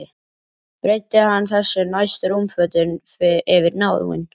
Breiddi hann þessu næst rúmfötin yfir náinn.